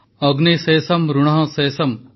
ଅଗ୍ନି ଶେଷମ୍ ଋଣଃ ଶେଷମ୍